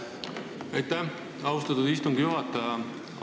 Aitäh, austatud istungi juhataja!